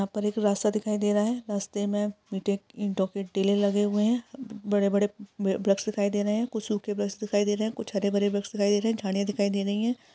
यहाँ पर एक रास्ता दिखाई दे रहा है। रास्ते मैं मिटी ईंटो के टीले लगे हुऐ है। बड़े बड़े ब वृक्ष दिखाई दे रहै है। कुछ सुखे वृक्ष दिखाई दे रहै है। कुछ हरे भरे वृक्ष दिखाई दे रहै है। झाड़ियां दिखाई दे रही है।